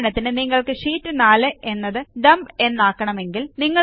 ഉദാഹരണത്തിന് നിങ്ങൾക്ക് ഷീറ്റ് 4 എന്നത് Dumpഎന്നാക്കണമെങ്കിൽ